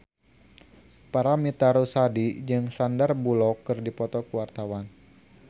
Paramitha Rusady jeung Sandar Bullock keur dipoto ku wartawan